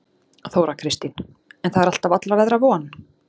Þóra Kristín: En það er alltaf allra veðra von?